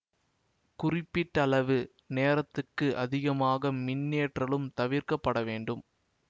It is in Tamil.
குறிப்பிட்டளவு நேரத்துக்கு அதிகமாக மின்னேற்றலும் தவிர்க்க பட வேண்டும்